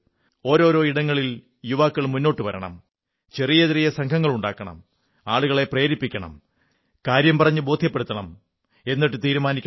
ഓരോരോ ഇടങ്ങളിൽ യുവാക്കൾ മുന്നോട്ടു വരണം ചെറിയ ചെറിയ സംഘങ്ങളുണ്ടാക്കണം ആളുകളെ പ്രേരിപ്പിക്കണം കാര്യം പറഞ്ഞു ബോധ്യപ്പെടുത്തണം എന്നിട്ടു തീരുമാനിക്കണം